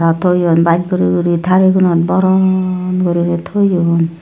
toyun baas guri guri talle gonot boron guri toyun.